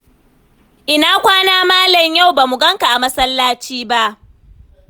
Ina kwana, Malam? Yau ba mu ganka a masallaci ba.